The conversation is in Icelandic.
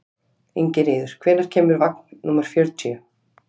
Ingiríður, hvenær kemur vagn númer fjörutíu?